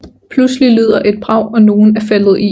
Pludselig lyder et brag og nogen er faldet i